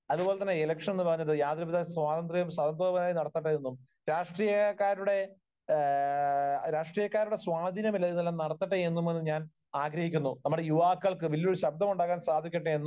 അതുപോലെ ഇലക്ഷൻ എന്ന് പറയുന്നത് യാതൊരുവിധ സ്വാതന്ത്ര്യവും, സ്വതന്ത്രമായി നടക്കട്ടെ എന്നും രാഷ്ട്രീയക്കാരുടെ, എഹ് രാഷ്ട്രീയക്കാരുടെ സ്വാധീനമില്ലാതെ ഇതെല്ലം നടക്കട്ടെ എന്നും ഞാൻ ആഗഹിക്കുന്നു. നമ്മുടെ യുവാക്കൾക്ക് വലിയൊരു ശബ്ദമുണ്ടാകാൻ സാധിക്കട്ടെ എന്ന്